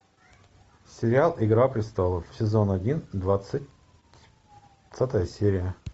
сериал игра престолов сезон один двадцатая серия